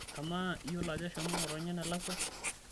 amaa iyiolo ajo eshomo ngotonye enelakwa?